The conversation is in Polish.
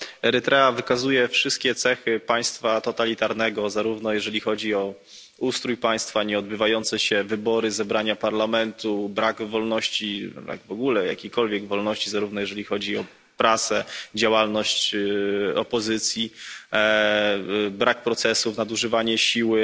Erytrea wykazuje wszystkie cechy państwa totalitarnego, zarówno jeżeli chodzi o ustrój państwa, nieodbywające się wybory, posiedzenia parlamentu, brak wolności, w ogóle jakiejkolwiek wolności, jak i prasę, działalność opozycji, brak procesów, nadużywanie siły.